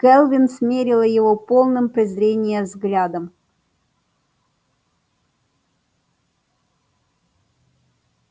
кэлвин смерила его полным презрения взглядом